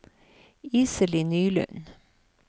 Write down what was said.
Iselin Nylund